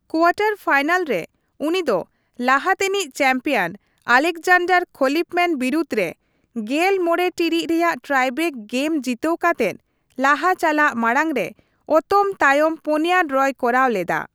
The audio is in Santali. ᱠᱳᱣᱟᱴᱟᱨ ᱯᱷᱟᱭᱱᱟᱞ ᱨᱮ, ᱩᱱᱤ ᱫᱚ ᱞᱟᱦᱟ ᱛᱮᱱᱤᱡ ᱪᱮᱢᱯᱤᱭᱚᱱ ᱟᱞᱮᱠᱡᱟᱱᱰᱟᱨ ᱠᱷᱚᱞᱤᱯᱷᱢᱮᱱ ᱵᱤᱨᱩᱫᱷ ᱨᱮ ᱑᱕ ᱴᱤᱲᱤᱡ ᱨᱮᱭᱟᱜ ᱴᱟᱭᱵᱨᱮᱠ ᱜᱮᱢ ᱡᱤᱛᱟᱹᱣ ᱠᱟᱛᱮᱫ ᱞᱟᱦᱟ ᱪᱟᱞᱟᱜ ᱢᱟᱲᱟᱝ ᱨᱮ ᱚᱛᱚᱢ ᱛᱟᱭᱚᱢ ᱯᱩᱱᱭᱟ ᱰᱨᱚᱭ ᱠᱚᱨᱟᱣ ᱞᱮᱫᱟ ᱾